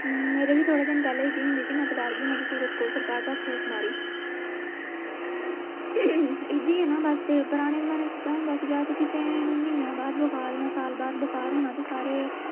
ਹਮ ਮੇਰੇ ਵੀ ਥੋੜੇ ਦਿਨ ਪਹਿਲੇ ਹੁੰਦੀ ਸੀ ਨਾ ਮੈਂ ਤੇ ਡਰ ਗਈ ਮੈਂ ਤਾਂ ਫੂਕ ਮਾਰੀ ਇੱਦਾਂ ਹੀ ਹੈ ਨਾ ਬਸ ਤੇ ਪੁਰਾਣੇ ਜਮਾਨੇ ਚ ਤਾਂ ਹੁੰਦਾ ਸੀ ਗਾ ਕਿਸੇ ਨੂੰ ਮਹੀਨਿਆਂ ਬਾਅਦ ਬੁਖਾਰ ਜਾ ਸਾਲ ਬਾਅਦ ਬੁਖਾਰ ਹੋਣਾ ਤੇ ਸਾਰੇ